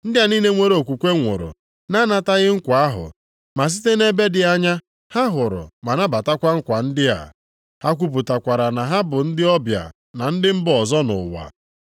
Ndị a niile nwere okwukwe nwụrụ na-anataghị nkwa ahụ, ma site nʼebe dị anya ha hụrụ ma nabatakwa nkwa ndị a. Ha kwupụtakwara na ha bụ ndị ọbịa na ndị mba ọzọ nʼụwa.